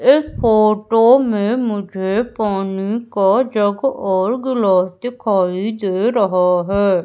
इस फोटो में मुझे पानी का जग और ग्लास दिखाई दे रहा है।